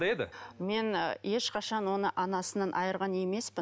мен ешқашан оны анасынан айырған емеспін